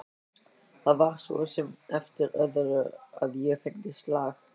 Það væri svo sem eftir öðru að ég fengi slag.